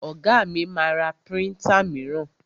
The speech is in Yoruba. Ọ̀gá mi ma ra príntà míràn.